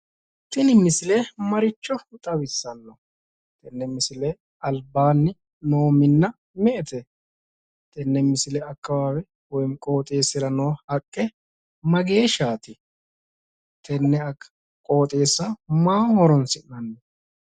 Tini misile maricho xawisanno? tenne misile albaanni no minna me"ete? tenne misile akawaawe woyim qqooxeessira no haqqe mageeshshaati? Tenne qooxeeessa maaho horonsi'nanni?